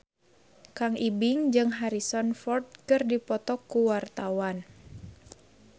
Kang Ibing jeung Harrison Ford keur dipoto ku wartawan